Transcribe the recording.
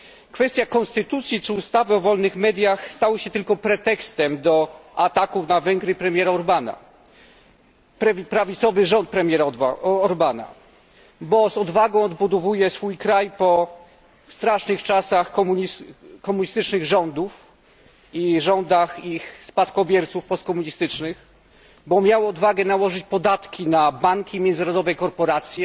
Kwestia konstytucji czy ustawy o wolnych mediach stała się tylko pretekstem do ataków na Węgry premiera Orbana, na prawicowy rząd premiera Orbana, bo z odwagą odbudowuje swój kraj po strasznych czasach komunistycznych rządów i rządach ich postkomunistycznych spadkobierców, bo miał odwagę nałożyć podatki na banki, międzynarodowe korporacje,